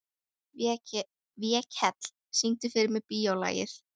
Vékell, syngdu fyrir mig „Bíólagið“.